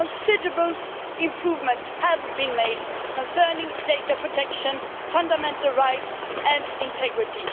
Considerable improvements have been made concerning data protection, fundamental rights and integrity.